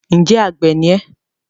Ǹjẹ́ àgbẹ̀ ni ẹ́?